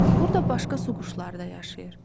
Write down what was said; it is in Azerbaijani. Burda başqa su quşları da yaşayır.